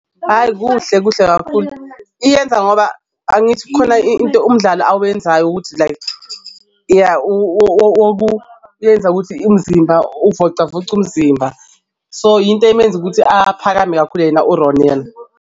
Ayi kuhle, kuhle kakhulu iyenza ngoba angithi kukhona into umdlalo awenzayo ukuthi like ya, ukuthi umzimba, uvocavoca umzimba so, yinto emenza ukuthi aphakeme kakhulu yena uRonel.